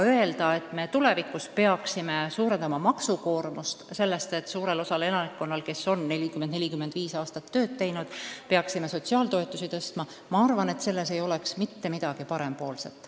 Öelda, et me tulevikus peaksime suurendama maksukoormust selleks, et suurel osal elanikkonnast, kes on 40–45 aastat tööd teinud, tuleks sotsiaaltoetusi tõsta – ma arvan, et selles ei oleks mitte midagi parempoolset.